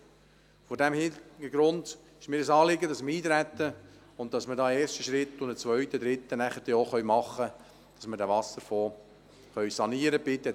Vor diesem Hintergrund ist mir das Eintreten auf die Gesetzesvorlage ein Anliegen, um einen ersten und dann später auch einen zweiten und einen dritten Schritt vornehmen und den Wasserfonds sanieren zu können.